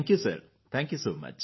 thank you sir thank you